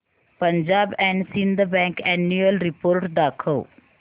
Punjab and Sind bank annual report दाखव